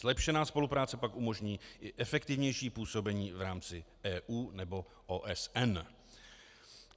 Zlepšená spolupráce pak umožní i efektivnější působení v rámci EU nebo OSN.